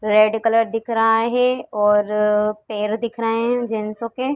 Red colour दिख रहा है और पैर दिख रहे हैं जेंसो के।